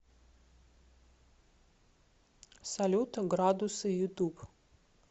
салют градусы ютуб